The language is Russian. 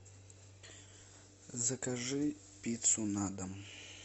закажи пиццу на дом